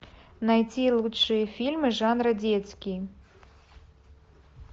найти лучшие фильмы жанра детский